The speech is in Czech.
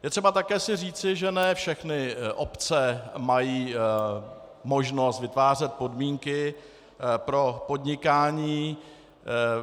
Je třeba si také říci, že ne všechny obce mají možnost vytvářet podmínky pro podnikání.